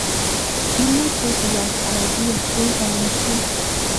imuchei iyan anan iyeshei kanyoiset